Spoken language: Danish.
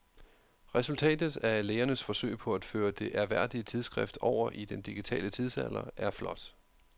Resultatet af lægernes forsøg på at føre det ærværdige tidsskrift over i den digitale tidsalder er flot.